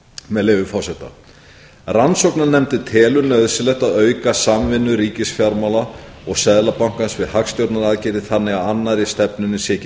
með leyfi forseta rannsóknarnefndin telur nauðsynlegt að auka samvinnu ríkisfjármála og seðlabankans við hagstjórnaraðgerðir þannig að annarri stefnunni sé ekki